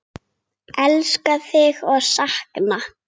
Elska þig og sakna.